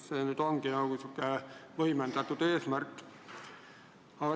See aga on natuke võimendatud eesmärk.